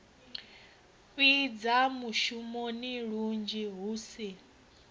fhidza mushumoni lunzhi hu si